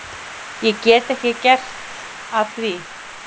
Ég get ekki gert að því.